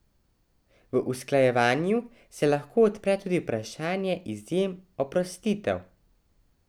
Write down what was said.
V usklajevanju se lahko odpre tudi vprašanje izjem, oprostitev.